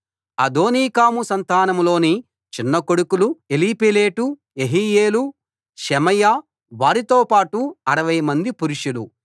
అదోనీకాము సంతానంలోని చిన్న కొడుకులు ఎలీపేలెటు యెహీయేలు షెమయా వారితో పాటు 60 మంది పురుషులు